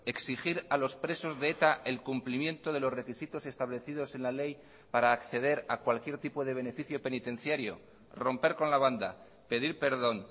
exigir a los presos de eta el cumplimiento de los requisitos establecidos en la ley para acceder a cualquier tipo de beneficio penitenciario romper con la banda pedir perdón